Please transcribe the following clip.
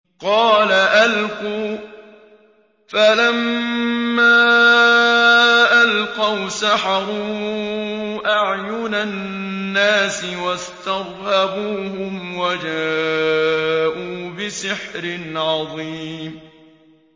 قَالَ أَلْقُوا ۖ فَلَمَّا أَلْقَوْا سَحَرُوا أَعْيُنَ النَّاسِ وَاسْتَرْهَبُوهُمْ وَجَاءُوا بِسِحْرٍ عَظِيمٍ